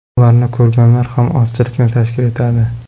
Ularni ko‘rganlar ham ozchilikni tashkil etadi.